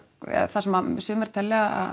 eða það sem sumir telja